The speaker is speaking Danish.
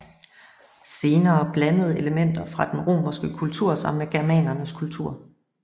Senere blandede elementer fra den romerske kultur sig med germanernes kultur